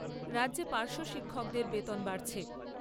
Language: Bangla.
রাজ্যে পার্শ্ব শিক্ষকদের বেতন বাড়ছে।